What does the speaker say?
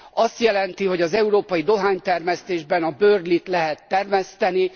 azt jelenti, hogy az európai dohánytermesztésben a Burley t lehet termeszteni.